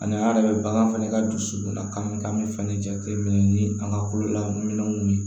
An'a yɛrɛ bɛ bagan fɛnɛ ka dusukun na k'an bɛ k'an be fɛnɛ jateminɛ ni an ka kololaminɛnw ye